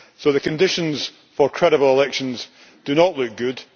So the conditions for credible elections do not look good